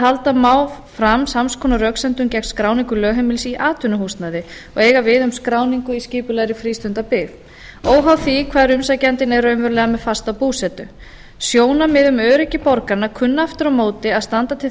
halda má fram sams konar röksemdum gegn skráningu lögheimilis í atvinnuhúsnæði og eiga við um skráningu í skipulegri frístundabyggð óháð því hvar umsækjandinn er raunverulega með fasta búsetu sjónarmið um öryggi borgaranna kunna aftur á móti að standa til þess